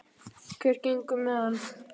Hvernig gengur með hann?